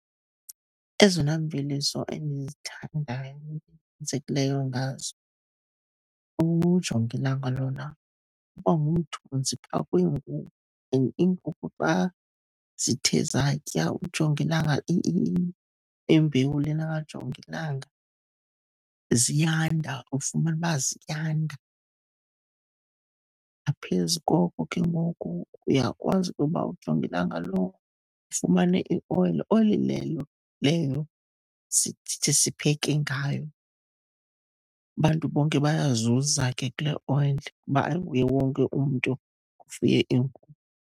Ezona mveliso endizithandayo ngazo, ujongilanga lona uba ngumthunzi phaa kwiinkukhu, and iinkukhu xa zithe zatya ujongilanga, imbewu lena kajongilanga ziyanda, ufumana ukuba ziyanda. Ngaphezu koko ke ngoku, uyakwazi ukuba ujongilanga lo ufumane ioyile. Oyile leyo leyo sithi sipheke ngayo. Abantu bonke bayazuza ke kule oyile kuba ayinguye wonke umntu ofuye iinkukhu.